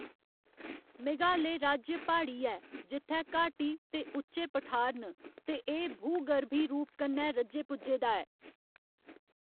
मेघालय राज्य प्हाड़ी ऐ, जित्थै घाटी ते उच्चे पठार न, ते एह्‌‌ भूगर्भी रूप कन्नै रज्जे पुज्जे दा ऐ।